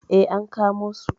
Eh, an kamo su.